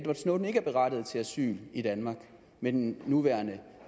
snowden ikke er berettiget til asyl i danmark med den nuværende